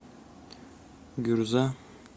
гюрза